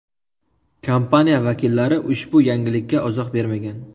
Kompaniya vakillari ushbu yangilikka izoh bermagan.